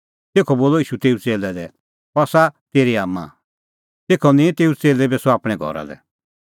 तेखअ बोलअ ईशू तेऊ च़ेल्लै लै अह आसा तेरी आम्मां तेखअ निंईं तेऊ च़ेल्लै तेभी सह आपणैं घरा लै